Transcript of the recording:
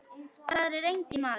Þar er enginn maður.